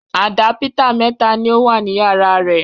Àdápítà mẹ́ta ni ó wà ní yàrá rẹ̀.